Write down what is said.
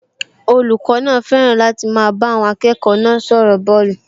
Olùkọ́ náà fẹ́ràn láti máa bá àwọn akẹ́kọ̀ọ́ náà sọ̀rọ̀ bọ́ọ̀lù